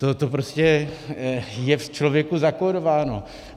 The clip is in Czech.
To prostě je v člověku zakódováno.